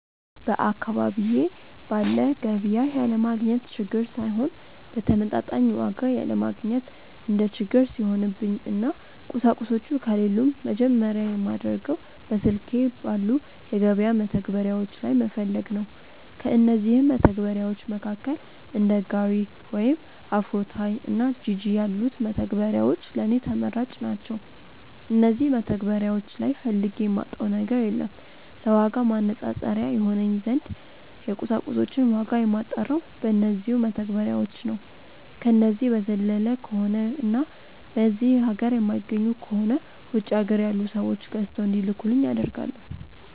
በአካባቢዬ ባለ ገቢያ ያለማግኘት ችግር ሳይሆን በተመጣጣኝ ዋጋ ያለማግኘት እንደ ችግር ሲሆንብኝ እና ቁሳቁሶቹ ከሌሉም መጀመርያ የማደርገው በስልኬ ባሉ የገበያ መተግበሪያዎች ላይ መፈለግ ነው። ከእነዚህም መተግበርያዎች መካከል እንደ ጋሪ ወይም አፍሮታይ እና ጂጂ ያሉት መተግበሪያዎች ለኔ ተመራጭ ናቸዉ። እነዚህ መተግበሪያዎች ላይ ፈልጌ የማጣው ነገር የለም። ለዋጋ ማነፃፀሪያ ይሆነኝ ዘንድ የቁሳቁሶችን ዋጋ የማጣራው በነዚው መተግበሪያዎች ነው። ከነዚህ በዘለለ ከሆነ እና በዚህ ሀገር የማይገኙ ከሆነ ውጪ ሀገር ያሉ ሰዎች ገዝተው እንዲልኩልኝ አደርጋለው።